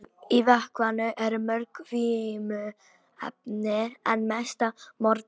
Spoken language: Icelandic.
Í vökvanum eru mörg vímuefni en mest af morfíni.